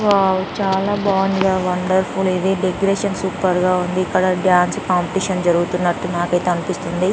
Ovo చాల బాగుంది wonderful ఇది డెకొరేషన్ సూపర్ గ ఉంది ఇక్కడ డాన్స్ కాంపిటీషన్ జరుగుతునాతు నాకు ఐతే అనిపిస్తుంది .